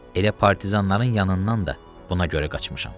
Elə partizanların yanından da buna görə qaçmışam.